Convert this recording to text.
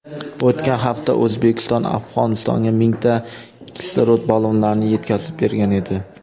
o‘tgan hafta O‘zbekiston Afg‘onistonga mingta kislorod ballonlarini yetkazib bergan edi.